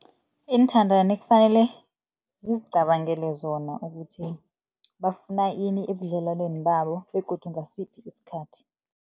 Iinthandani kufanele zizicabangele zona, ukuthi bafuna ini ebudlelwaneni babo begodu ngasiphi isikhathi.